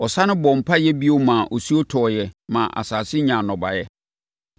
Ɔsane bɔɔ mpaeɛ bio maa osuo tɔeɛ maa asase nyaa nnɔbaeɛ.